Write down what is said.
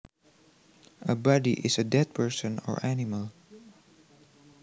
A body is a dead person or animal